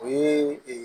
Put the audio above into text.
O ye ee